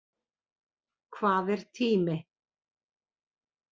Hvað er tími?